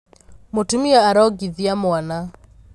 Mũtumia arongithia mwana.